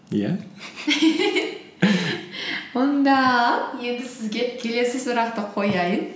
иә онда енді сізге келесі сұрақты қояйын